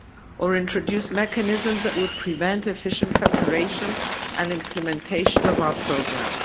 or introduce mechanisms that would prevent efficient preparation and implementation of our programme.